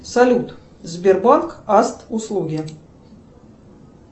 салют сбербанк аст услуги